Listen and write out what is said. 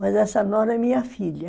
Mas essa nora é minha filha.